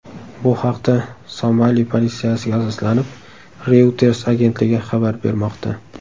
Bu haqda Somali politsiyasiga asoslanib Reuters agentligi xabar bermoqda .